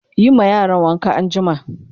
Yi ma yaran wanka anjima!